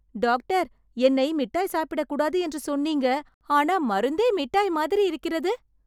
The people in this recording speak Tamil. டாக்டர், என்னை மிட்டாய் சாப்பிடக் கூடாது என்று சொன்னீங்க ஆனா மருந்தே மிட்டாய் மாதிரி இருக்கிறது.